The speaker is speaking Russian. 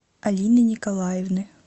алины николаевны